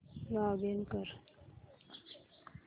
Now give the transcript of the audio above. login कर